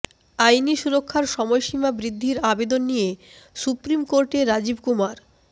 আইনি সুরক্ষার সময়সীমা বৃদ্ধির আবেদন নিয়ে সুপ্রিম কোর্টে রাজীব কুমার